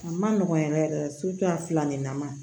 A ma nɔgɔn yɛrɛ yɛrɛ a fila nin na ma